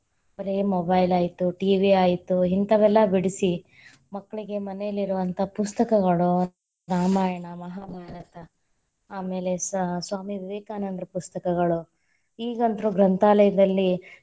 ಬರೇ mobile ಆಯ್ತು TV ಆಯ್ತು ಇಂತಾವೆಲ್ಲ ಬಿಡಿಸಿ, ಮಕ್ಕಳಿಗೆ ಮನೆಯಲ್ಲಿರುವಂತಹ ಪುಸ್ತಕಗಳು, ರಾಮಾಯಣ, ಮಹಾಭಾರತ, ಆಮೇಲೆ ಸ~ ಸ್ವಾಮಿ ವಿವೇಕಾನಂದರ ಪುಸ್ತಕಗಳು ಈಗಂತ್ರು ಗ್ರಂಥಾಲಯದಲ್ಲಿ.